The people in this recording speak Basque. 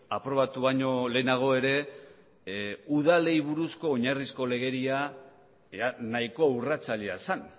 aprobatu baino lehenago ere udalei buruzko oinarrizko legedia nahiko urratzailea zen